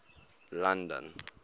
london